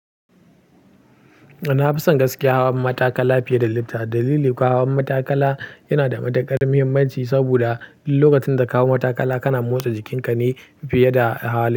Na fi son gaskiya hawan matakala fiye da lifta. Dalili kuwa hawan matakala yana da matuƙar muhimmanci saboda duk lokacin da ka hau matakala kana motsa jikinka ne fiye da hawa lifta.